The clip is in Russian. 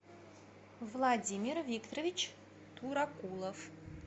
владимир викторович туракулов